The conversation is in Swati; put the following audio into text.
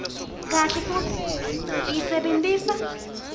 kahle futsi uyisebentisa